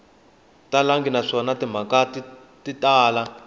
talangi naswona timhaka ti tala